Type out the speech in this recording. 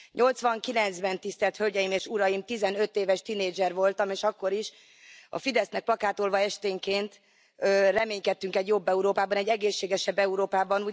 Nyolcvankilencben, Tisztelt Hölgyeim és Uraim, 15 éves tinédzser voltam, és akkor is a Fidesznek plakátolva esténként reménykedtünk egy jobb Európában, egy egészségesebb Európában.